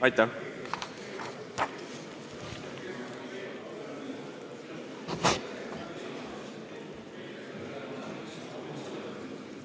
Aitäh!